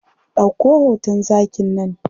Ɗauko hoton zakin nan.